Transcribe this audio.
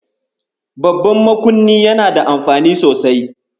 Babban makunni yana da amfani sosai.